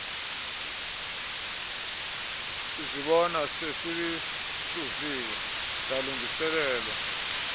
sizibona sezihluziwe zalungiseleelwa